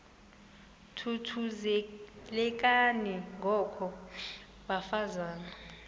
thuthuzelekani ngoko bafazana